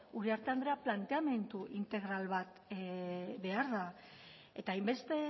uriarte andrea planteamendu integral bat behar da eta hainbeste